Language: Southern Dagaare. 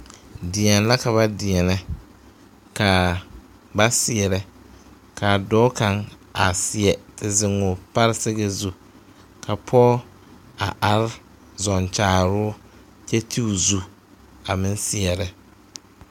Deɛne la ka ba deɛnɛ ka ba seɛrɛ ka dɔɔ kaŋa seɛ te zeŋ o paresɛgɛ zu ka pɔge a are zɔɔ kyaaroo kyɛ ti o zu a meŋ seɛrɛ.